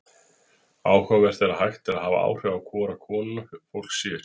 Áhugavert er að hægt er að hafa áhrif á hvora konuna fólk sér.